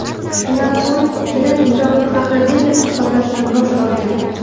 Shundan so‘ng kelin nikohni haqiqiy deb hisoblashdan bosh tortgan.